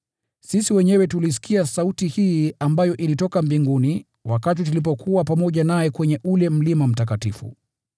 Sisi wenyewe tuliisikia sauti hii ambayo ilitoka mbinguni, wakati tulipokuwa pamoja naye kwenye ule mlima mtakatifu.